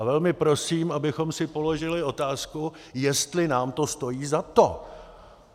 A velmi prosím, abychom si položili otázku, jestli nám to stojí za to.